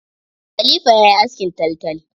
Kalifa yayi askin taltal.